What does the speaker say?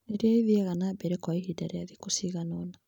iria ithiaga na mbere kwa ihinda rĩa thikũ ciganona.